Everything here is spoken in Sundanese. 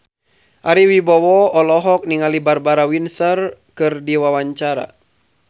Ari Wibowo olohok ningali Barbara Windsor keur diwawancara